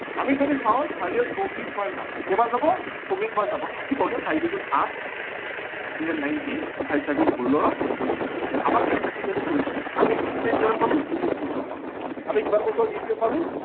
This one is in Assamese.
আমি যদি চাও চাৰিয়ে চৌবিশ বাৰ যাব কেইবাৰ যাব চৌবিশ বাৰ যাব থাকিবগে চাৰি দুগুন আঠ থাকিলে nineteen চাৰি চাৰি গুন ষোল্লৰ থাকি গল তিনি। আমাক এই থাকি যোৱাটো প্ৰয়োজন নাই আমি leap year কিমান পালো চৌবিশ বছৰ পালো আমি কিমান বছৰ leap year পালো